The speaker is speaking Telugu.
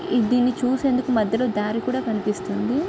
ఈ దీన్ని చూసేందుకు మద్యలో దారి కూడా కనిపిస్తుంది.